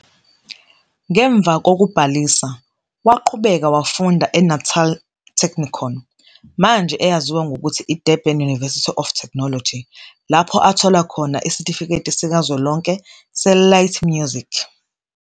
Ngemva kokubhalisa, waqhubeka wafunda eNatal Technikon, manje eyaziwa ngokuthi I-Durban University of Technology, lapho athola khona isitifiketi sikazwelonke se-Light Music.